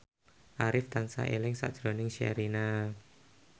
Arif tansah eling sakjroning Sherina